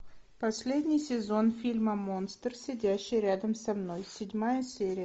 последний сезон фильма монстр сидящий рядом со мной седьмая серия